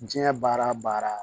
Diɲɛ baara o baara